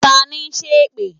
Tani n sẹ́ èpè?